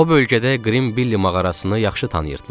O bölgədə Qrim Bili mağarasını yaxşı tanıyırdılar.